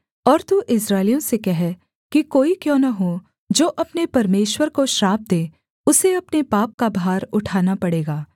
और तू इस्राएलियों से कह कि कोई क्यों न हो जो अपने परमेश्वर को श्राप दे उसे अपने पाप का भार उठाना पड़ेगा